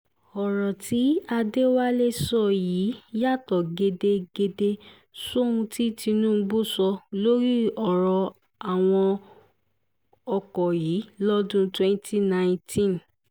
ọ̀rọ̀ tí adéwálé sọ yìí yàtọ̀ gédégédé sóhun tí tinubu sọ lórí ọ̀rọ̀ àwọn ọkọ̀ yìí lọ́dún twenty nineteen